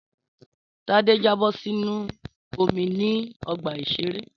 Tádé jábọ̀ sínú omi ní ọgbà-ìṣeré